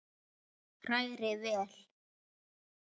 Hrærið vel.